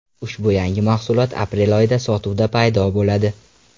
Ushbu yangi mahsulot aprel oyida sotuvda paydo bo‘ladi.